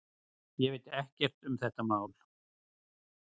Ég veit ekkert um þetta mál.